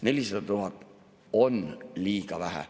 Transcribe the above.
400 000 on liiga vähe.